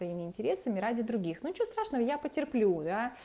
своими интересами ради других ну ничего страшного я потерплю да